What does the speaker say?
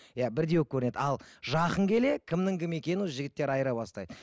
иә бірдей болып көрінеді ал жақын келе кімнің кім екені уже жігіттер айыра бастайды